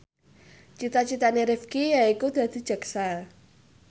cita citane Rifqi yaiku dadi jaksa